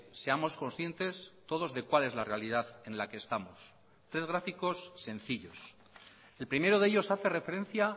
seamos conscientes todos de cuál es la realidad en la que estamos tres gráficos sencillos el primero de ellos hace referencia